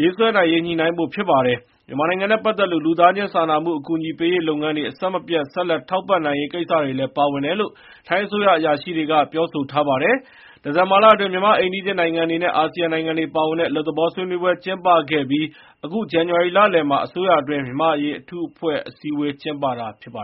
ရေး ညှိနှိုင်းဖို့ ဖြစ်ပါတယ်။ မြန်မာနိုင်ငံနဲ့ ပတ်သက်လို့ လူသားချင်း စာနာမှု အကူအညီပေးရေးလုပ်ငန်းတွေ အဆက်မပြတ် ဆက်လက် ထောက်ပံ့နိုင်ရေး ကိစ္စတွေလည်း ပါဝင်တယ်လို့ ထိုင်းအစိုးရအရာရှိတွေက ပြောထားပါတယ်။ ဒီဇင်ဘာလအတွင်း မြန်မာ့အိမ်နီးချင်းနိုင်ငံတွေနဲ့ အာဆီယံနိုင်ငံတွေပါဝင်တဲ့ အလွတ်သဘော ဆွေးနွေးပွဲ ကျင်းပခဲ့ပြီး အခု ဇန္နဝါရီလလယ်မှာ အစိုးရအတွင်း မြန်မာ့အရေးအထူးအဖွဲ့ အစည်းအဝေး ကျင်းပတာပါ